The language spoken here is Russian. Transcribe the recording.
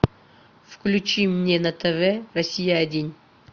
включи мне на тв россия один